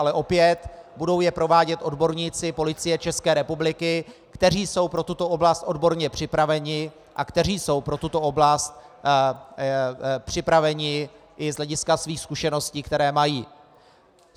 Ale opět, budou je provádět odborníci Policie České republiky, kteří jsou pro tuto oblast odborně připraveni a kteří jsou pro tuto oblast připraveni i z hlediska svých zkušeností, které mají.